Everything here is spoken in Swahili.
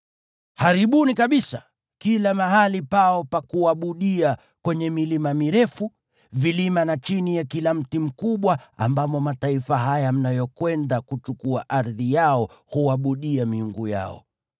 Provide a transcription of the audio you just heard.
Haribuni kabisa kila mahali pao pa kuabudia kwenye milima mirefu, vilima na chini ya kila mti mkubwa ambamo mataifa haya mnayokwenda kuchukua ardhi yao huabudia miungu yao.